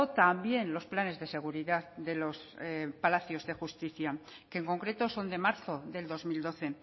también los planes de seguridad de los palacios de justicia que en concreto son de marzo del dos mil doce